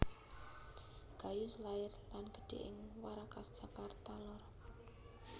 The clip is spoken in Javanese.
Gayus lair lan gedhe ing Warakas Jakarta lor